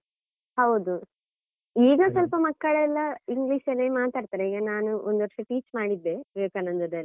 ಹೌದು ಈಗ ಸ್ವಲ್ಪ ಮಕ್ಕಳೆಲ್ಲಾ English ಅಲ್ಲೆ ಮಾತಾಡ್ತಾರೆ, ಈಗ ನಾನು ಒಂದು ವರ್ಷಾ teach ಮಾಡಿದ್ದೆ ವಿವೇಕಾನಂದದಲ್ಲಿ.